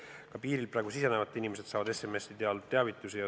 Ka piirilt praegu sisenevad inimesed saavad SMS-i teel teavitusi.